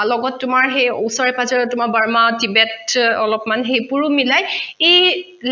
অ লগত তোমাৰ সেই ওচৰে পাজৰে তোমাৰ বাৰ্মা কিবেত অলপমান সেইবোৰো মিলাই এই